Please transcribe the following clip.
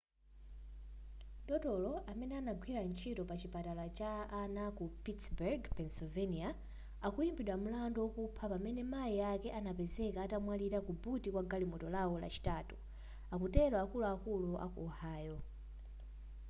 dotolo amene anagwira ntchito pa chipatala cha ana ku pittburgh pennsylvania akuimbidwa mlandu wokupha pamene mai ake anapezeka atamwalira ku buti kwa galimoto lao lachitatu atero akuluakulu a ku ohio